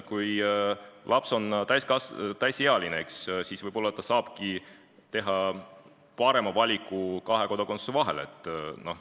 Kui laps on täisealine, siis võib-olla ta saab teha parema valiku kahe kodakondsuse vahel.